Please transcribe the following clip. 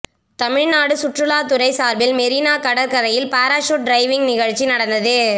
தமிழ்நாடு சுற்றுலாத் துறை சார்பில் மெரினா கடற்கரையில் பாராசூட் டிரைவிங் நிகழ்ச்சி நடந்தது